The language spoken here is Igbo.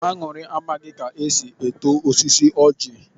Añụrị amaghị ka esi eto osisi ojị.